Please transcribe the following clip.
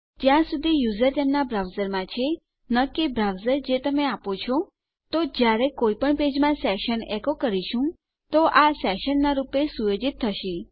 જ્યાં સુધી યુઝર તેમના બ્રાઉઝરમાં છે ન કે બ્રાઉઝર જે તમે આપો છો તો જયારે આપણે કોઈ પણ પેજમાં સેશન એકો કરીશું તો આ સેશનનાં રૂપે સુયોજિત થશે